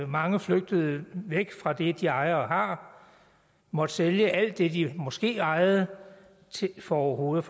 mange flygtede væk fra det de ejer og har måtte sælge alt det de måske ejede for overhovedet